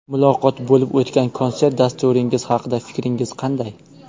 Muloqot: Bo‘lib o‘tgan konsert dasturingiz haqida fikringiz qanday?